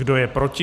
Kdo je proti?